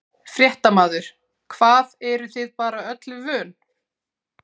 Fréttamaður: Hvað, eruð þið bara öllu vön?